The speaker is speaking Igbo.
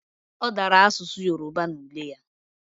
Odara asusu Yoruba na ule ya